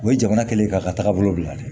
O ye jamana kɛlen ye k'a ka tagabolo bila dɛ